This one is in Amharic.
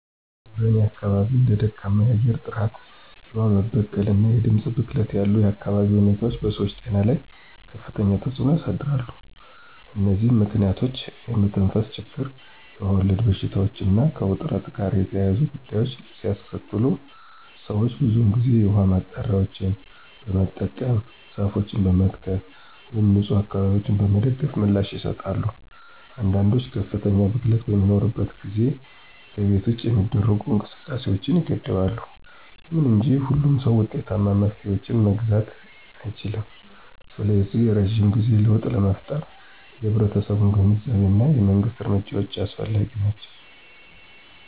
በእኔ አካባቢ እንደ ደካማ የአየር ጥራት፣ የውሃ መበከል እና የድምፅ ብክለት ያሉ የአካባቢ ሁኔታዎች በሰዎች ጤና ላይ ከፍተኛ ተጽዕኖ ያሳድራሉ። እነዚህ ምክንያቶች የመተንፈስ ችግር, የውሃ ወለድ በሽታዎች እና ከውጥረት ጋር የተያያዙ ጉዳዮችን ሊያስከትሉ ሰዎች ብዙውን ጊዜ የውሃ ማጣሪያዎችን በመጠቀም፣ ዛፎችን በመትከል ወይም ንፁህ አካባቢዎችን በመደገፍ ምላሽ ይሰጣሉ። አንዳንዶች ከፍተኛ ብክለት በሚኖርበት ጊዜ ከቤት ውጭ የሚደረጉ እንቅስቃሴዎችን ይገድባሉ። ይሁን እንጂ ሁሉም ሰው ውጤታማ መፍትሄዎችን መግዛት አይችልም, ስለዚህ የረጅም ጊዜ ለውጥ ለመፍጠር የህብረተሰቡ ግንዛቤ እና የመንግስት እርምጃዎች አስፈላጊ ናቸው.